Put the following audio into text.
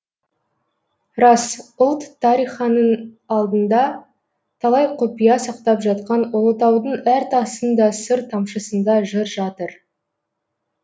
рас ұлт тариханың алдында талай құпия сақтап жатқан ұлытаудың әр тасын да сыр тамшысында жыр жатыр